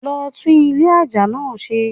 Lo tún Ilé aja náa se